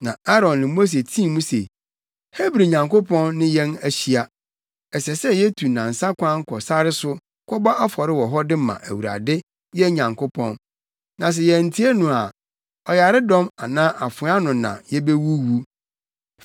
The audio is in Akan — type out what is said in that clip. Na Aaron ne Mose tii mu se, “Hebri Nyankopɔn ne yɛn ahyia. Ɛsɛ sɛ yetu nnansa kwan kɔ sare so kɔbɔ afɔre wɔ hɔ de ma Awurade, yɛn Nyankopɔn. Na sɛ yɛantie no a, ɔyaredɔm anaa afoa ano na yebewuwu.”